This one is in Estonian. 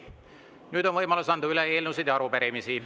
Nüüd on võimalus anda üle eelnõusid ja arupärimisi.